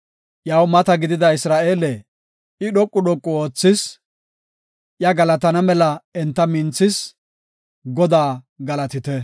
Iyaw mata gidida Isra7eele, I dhoqu dhoqu oothis; iya galatana mela enta minthethis. Godaa galatite!